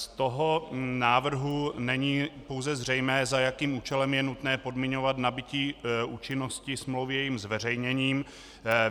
Z toho návrhu není pouze zřejmé, za jakým účelem je nutné podmiňovat nabytí účinnosti smlouvy jejím zveřejněním.